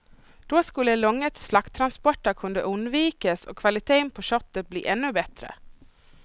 Då skulle långa slakttransporter kunna undvikas och kvaliteten på köttet bli ännu bättre.